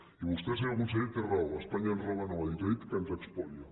i vostè senyor conseller té raó que espanya ens roba no ho ha dit ha dit que ens espolia